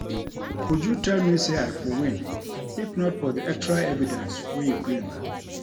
Uju tell me say I for win if not for the extra evidence wey you bring